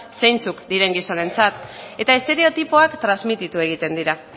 zeintzuk diren gizonentzat eta estereotipoak transmititu egiten dira